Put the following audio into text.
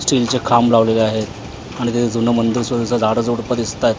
Steel चे खांबं लावलेले आहे आणि तिथं जुन मंदिर सुद्धा झाड झुडप दिसतायेत.